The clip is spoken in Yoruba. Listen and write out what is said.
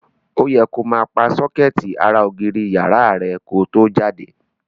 Ó yẹ ko máa pa sókẹ́ẹ̀tì ara ògiri ìyàrá rẹ ko tó jáde.